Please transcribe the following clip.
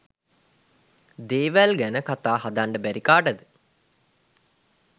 දේවල් ගැනකතා හදන්ඩ බැරිද කාටද?